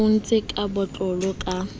o entswe ka botlalo ka